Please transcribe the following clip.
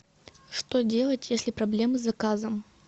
что делать если проблемы с заказом